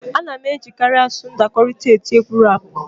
A na-ejikarị asụsụ ndakọrịta eti egwu rap